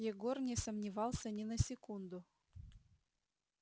егор не сомневался ни на секунду